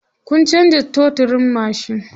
Kun canza totirin mashin?